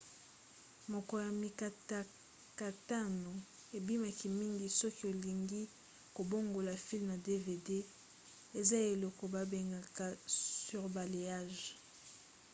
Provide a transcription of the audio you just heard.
moko ya mikatakatano ebimaki mingi soki olingi kobongola filme na dvd eza eloko babengaka surbalayage